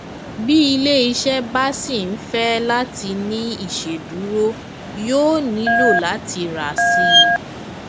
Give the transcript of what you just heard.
bí iléiṣẹ bá ṣì ń fẹ láti ní ìṣèdúró yóò nílò láti rà síi